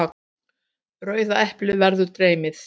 Rauða eplið verður dreymið.